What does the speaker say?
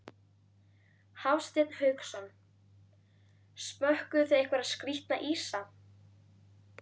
Hafsteinn Hauksson: Smökkuðuð þið einhverja skrítna ísa?